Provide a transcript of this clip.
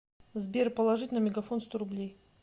сбер положить на мегафон сто рублей